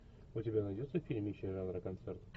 у тебя найдется фильмище жанра концерт